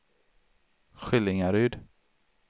Skillingaryd